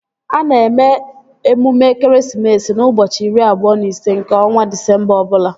A na-eme emume ekeresimesi n'ụbọchị iri abụọ na ise nke ọnwa Disemba ọbụla